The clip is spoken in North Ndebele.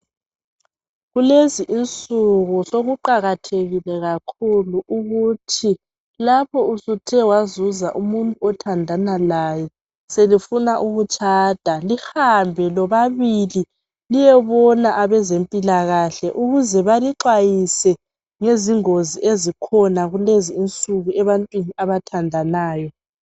Kulezi insuku sokuqakathekile kakhulu ukuthi lapho usuthe wazuza umuntu othandana laye selifuna ukutshanda lihambe lobabili liyebona abezempilakahle ukuze balixwayise ngezingozi ezikhona kulezinsuku ebantwini abathandanayo.